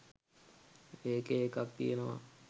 ඒකේ එකක් තියනවා